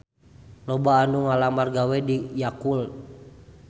Loba anu ngalamar gawe ka Yakult